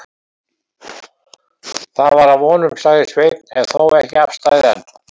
Það var að vonum, sagði Sveinn, en þó ekki afstaðið enn.